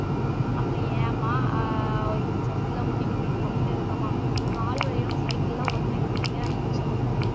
அப்புறம் ஏம்மா ஆஹ் cycle ஆ ஓட்டிட்டு இருக்குறீங்க கம்முனு இருங்கம்மா கால் வலியோட cycle லாம் ஓட்டுனா எப்படிங்க இருக்கும் சொல்லுங்க